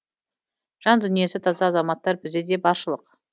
жан дүниесі таза азаматтар бізде де баршылық